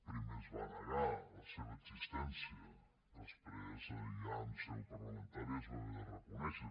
primer es va negar la seva existència després ja en seu parlamentària es va haver de reconèixer